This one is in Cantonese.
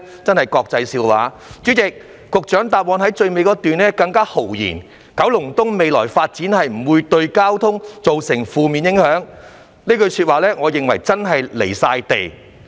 主席，局長在主體答覆的最後一段中更豪言，"九龍東未來發展不會對交通造成負面影響"，我認為這句說話真的很"離地"。